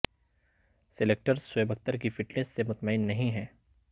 selectors Shoaib Akhtar کی fitness سے مطمئن نہیں ہیں